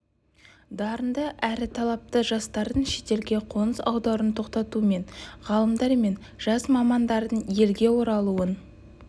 дарынды әрі талапты жастардың шетелге қоныс аударуын тоқтату мен ғалымдар мен жас мамандардың елге оралуын